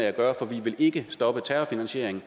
at gøre for de vil ikke stoppe terrorfinansieringen